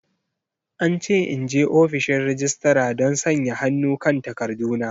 An ce in je ofishin registra don sanya hannu kan takarduna.